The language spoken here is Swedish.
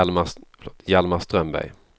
Hjalmar Strömberg